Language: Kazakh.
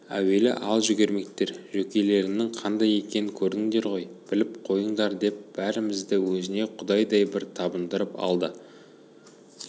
әуелі ал жүгірмектер жөкелеріңнің қандай екенін көрдіңдер ғой біліп қойыңдардеп бәрімізді өзіне құдайдай бір табындырып алды